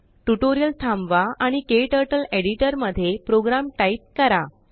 tutorial थांबवा आणिKTurtleएडिटरमध्ये program type करा